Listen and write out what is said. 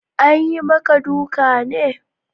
Anyi maka duka ne?